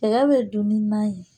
Cɛya bɛ don ni nan ye